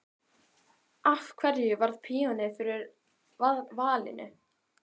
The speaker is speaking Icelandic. Af hverju varð píanóið fyrir valinu?